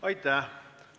Aitäh!